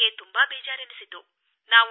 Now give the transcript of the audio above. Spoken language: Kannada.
ನನಗೆ ತುಂಬಾ ಬೇಜಾರೆನಿಸಿತು